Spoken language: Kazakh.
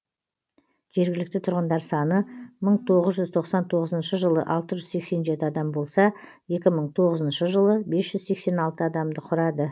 жергілікті тұрғындар саны мың тоғыз жүз тоқсан тоғызыншы жылы алты жүз сексен жеті адам болса екі мың тоғызыншы жылы бес жүз сексен алты адамды құрады